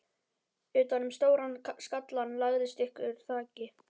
Utan um stóran skallann lagðist þykkur kragi.